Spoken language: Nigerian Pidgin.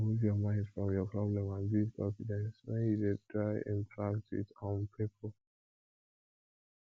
remove your mind from your problem and build confidence when when you dey try interact with um pipo